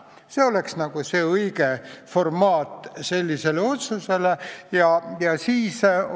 See oleks sellise otsuse õige formaat.